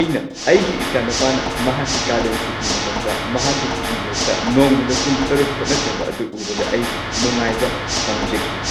ꯑꯩꯅ ꯑꯩꯒꯤ ꯏꯆꯥꯅꯨꯄꯥꯅ ꯃꯍꯥꯛꯀꯤ ꯀꯥꯂꯦꯟ-ꯁꯨꯇꯤ ꯃꯇꯝꯗ ꯃꯍꯥꯛꯀꯤ ꯀꯤꯕꯣꯔꯗꯇ ꯅꯣꯡꯃꯗ ꯄꯨꯡ ꯶ ꯍꯣꯠꯅꯖꯕ ꯑꯗꯨ ꯎꯕꯗ ꯑꯩ ꯅꯨꯡꯉꯥꯏꯕ ꯐꯪꯖꯈꯤ꯫